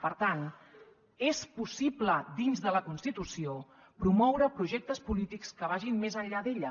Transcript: per tant és possible dins de la constitució promoure projectes polítics que vagin més enllà d’ella